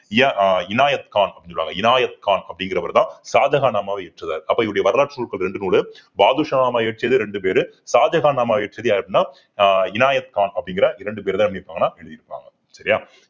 இணையத் கான் அப்படின்னு சொல்லுவாங்க இணையத் கான் அப்படிகிறவர் தான் ஷாஜகான் நாமா அப்ப இவருடைய வரலாற்று நூல்கள் ரெண்டும் நூலு பாதுஷா நாமா இயற்றியது ரெண்டு பேரு ஷாஜகான் நாமா இயற்றியது யாரு அப்படின்னா ஆஹ் இணையத் கான் அப்படிங்கிற இரண்டு பேர்தான் எழுதியிருப்பாங்கன்னா எழுதி இருப்பாங்க சரியா